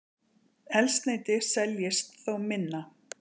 Eldsneyti seljist þó minna